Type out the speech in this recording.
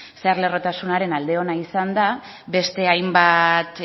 zeharlerrotasunaren alde ona izan da beste hainbat